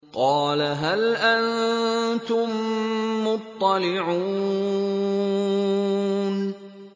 قَالَ هَلْ أَنتُم مُّطَّلِعُونَ